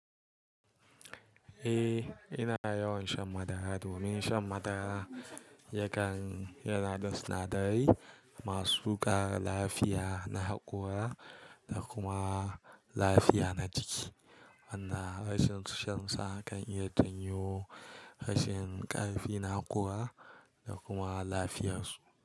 Eh, ina yawan shan madara domin shan madara yakan yana da sinadarai masu ƙara lafiya na haƙora da kuma lafiya na jiki. Wanda rashin shan sa kan iya janyo rashin ƙarfi na haƙora da kuma lafiyarsu.